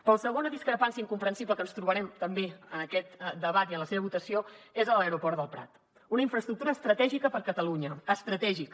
però la segona discrepància incomprensible que ens trobarem també en aquest debat i en la seva votació és a l’aeroport del prat una infraestructura estratègica per a catalunya estratègica